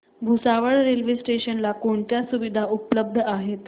Bhusawal railway station ला कोणत्या सुविधा उपलब्ध आहेत